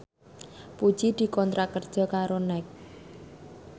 Puji dikontrak kerja karo Nike